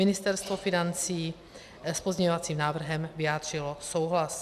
Ministerstvo financí s pozměňovacím návrhem vyjádřilo souhlas.